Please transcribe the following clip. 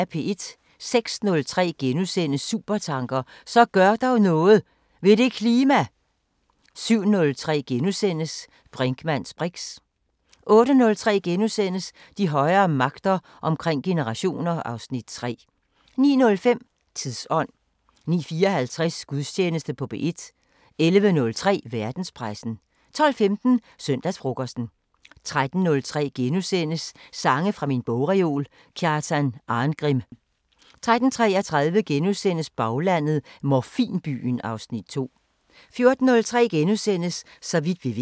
06:03: Supertanker: Så gør dog noget ... ved det klima! * 07:03: Brinkmanns briks * 08:03: De højere magter: Omkring generationer (Afs. 3)* 09:05: Tidsånd 09:54: Gudstjeneste på P1 11:03: Verdenspressen 12:15: Søndagsfrokosten 13:03: Sange fra min bogreol – Kjartan Arngrim * 13:33: Baglandet: 'Morfinbyen' (Afs. 2)* 14:03: Så vidt vi ved *